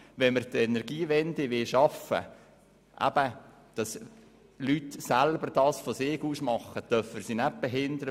Wenn wir die Energiewende schaffen wollen, auch dass die Leute von sich aus aktiv werden, dürfen wir sie nicht behindern.